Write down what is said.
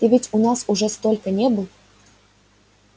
ты ведь у нас уже столько не был